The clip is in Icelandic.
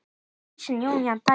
Gísli, Jóna og dætur.